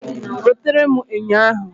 Wetere m enyo ahụ